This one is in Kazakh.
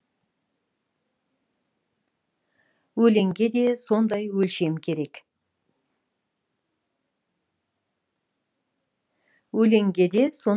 өлеңге де сондай өлшем керек